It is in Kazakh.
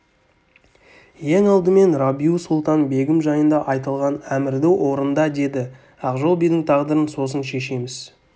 ең алдымен рабиу-сұлтан-бегім жайында айтылған әмірді орында деді ақжол бидің тағдырын сосын шешеміз